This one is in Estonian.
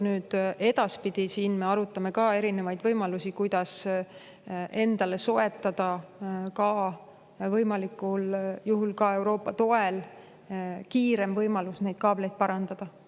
Edaspidi me arutame erinevaid võimalusi, kuidas ka endale soetada, kui võimalik, siis Euroopa toel, kiirem võimalus neid kaableid parandada.